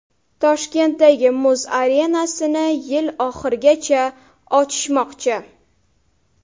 Toshkentdagi muz arenasini yil oxirigacha ochishmoqchi.